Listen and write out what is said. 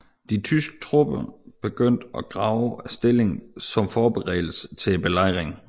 De tyske tropper begyndte at grave stillinger som forberedelse til belejringen